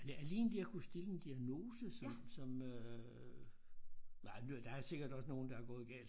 Alene det at kunne stille en diagnose som som øh nej øh der er sikkert også nogle der er gået galt